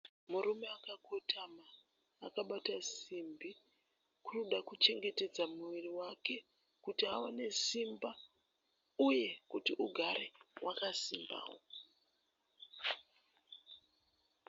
Murume akakotama akabata simbi kuri kuda kuchengetedza muviri wake kuti awane simba uye kuti ugare wakasimbawo.